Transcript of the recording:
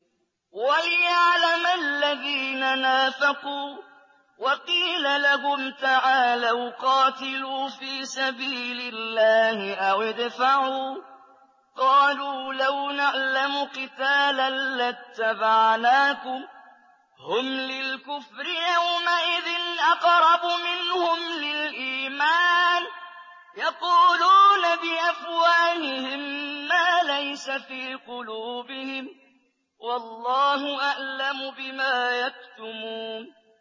وَلِيَعْلَمَ الَّذِينَ نَافَقُوا ۚ وَقِيلَ لَهُمْ تَعَالَوْا قَاتِلُوا فِي سَبِيلِ اللَّهِ أَوِ ادْفَعُوا ۖ قَالُوا لَوْ نَعْلَمُ قِتَالًا لَّاتَّبَعْنَاكُمْ ۗ هُمْ لِلْكُفْرِ يَوْمَئِذٍ أَقْرَبُ مِنْهُمْ لِلْإِيمَانِ ۚ يَقُولُونَ بِأَفْوَاهِهِم مَّا لَيْسَ فِي قُلُوبِهِمْ ۗ وَاللَّهُ أَعْلَمُ بِمَا يَكْتُمُونَ